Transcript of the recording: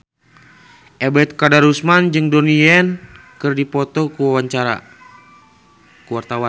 Ebet Kadarusman jeung Donnie Yan keur dipoto ku wartawan